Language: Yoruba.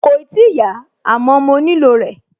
Kòì tíì yá, àmọ́ mo nílò rẹ̀